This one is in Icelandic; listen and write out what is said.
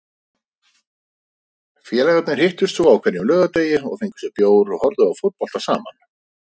Félagarnir hittust svo á hverjum laugardegi og fengu sér bjór og horfðu á fótbolta saman.